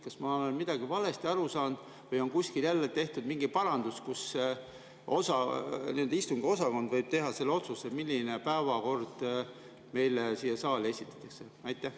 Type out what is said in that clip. Kas ma olen midagi valesti aru saanud või on kuskil jälle tehtud mingi parandus, et istungiosakond võib teha selle otsuse, milline päevakord meile saali esitatakse?